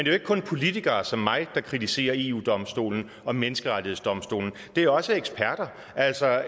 jo ikke kun politikere som mig der kritiserer eu domstolen og menneskerettighedsdomstolen det er også eksperter altså